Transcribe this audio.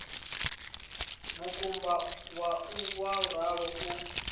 makumba au wa ralo u